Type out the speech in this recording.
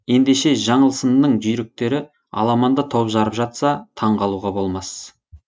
ендеше жаңылсынның жүйріктері аламанда топ жарып жатса таңғалуға болмас